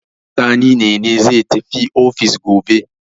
Sani ne ne zai tafi ofis gobe.